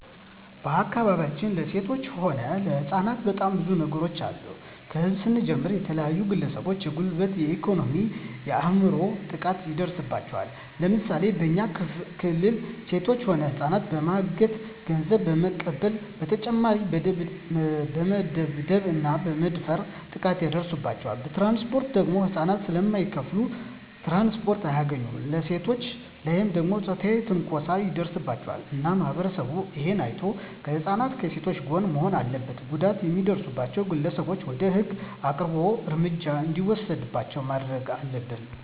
በአካባቢያችን ለሴቶች ሆነ ለህጻናት በጣም ብዙ ነገሮች አሉ ከህዝብ ስንጀምር የተለያዩ ግለሰቦች የጉልበት የኤኮኖሚ የአይምሮ ጥቃት ይደርስባቸዋል ለምሳሌ በኛ ክልል ሴቶች ሆነ ህጻናትን በማገት ገንዘብ በመቀበል በተጨማሪ በመደብደብ እና በመድፈር ጥቃት ይደርስባቸዋል በትራንስፖርት ደግሞ ህጻናት ስለማይከፋሉ ትራንስፖርት አያገኙም በሴቶች ላይ ደግሞ ጾታዊ ትንኮሳዎች ይደርስባቸዋል እና ማህበረሰቡ እሄን አይቶ ከህጻናት ከሴቶች ጎን መሆን አለበት ጉዳት የሚያደርሱት ግለሰቦች ወደ ህግ አቅርቦ እርምጃ እንዲወሰድባቸው ማረግ አለብን